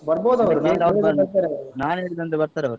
ನಾನ್ ಹೇಳಿದ್ ಅಂದ್ರೆ ಬರ್ತಾರೆ ಅವ್ರು.